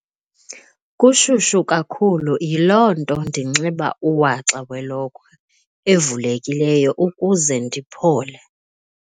Kushushu kakhulu yiloo nto ndinxiba uwaxa welokhwe evulekileyo ukuze ndiphole.